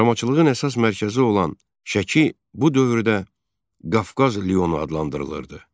Baramaçılığın əsas mərkəzi olan Şəki bu dövrdə Qafqaz Lionu adlandırılırdı.